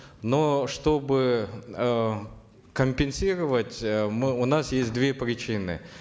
но чтобы э компенсировать э мы у нас есть две причины